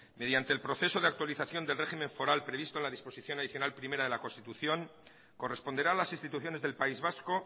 mediante el proceso de actualización del régimen foral previsto en la disposición adicional primera de la constitución corresponderá a las instituciones del país vasco